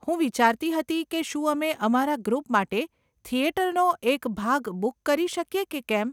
હું વિચારતી હતી કે શું અમે અમારા ગ્રુપ માટે થિયેટરનો એક ભાગ બુક કરી શકીએ કે કેમ?